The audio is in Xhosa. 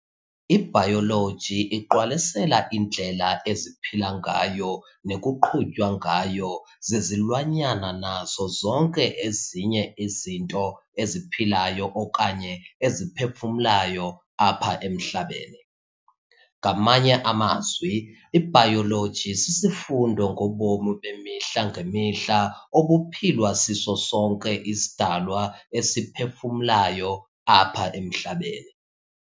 IBayoloji iqwalasela indlela eziphila ngayo nekuqhutywa ngayo zizilwanyana nazo zonke ezinye izinto eziphilayo okanye eziphefumlayo apha emhlabeni. Ngamanye amazwi ibayoloji sisifundo ngobomi bemihla ngemihla obuphilwa siso sonke isidalwa esiphefumlayo apha emhlabeni.